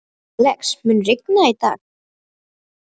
Alex, mun rigna í dag?